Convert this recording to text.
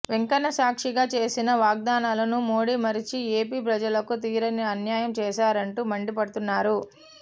వెంకన్న సాక్షిగా చేసిన వాగ్దానాలను మోడీ మరచి ఏపీ ప్రజలకు తీరని అన్యాయం చేశారంటూ మండిపడుతున్నారు